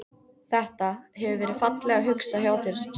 Þetta. hefur verið fallega hugsað hjá þér sagði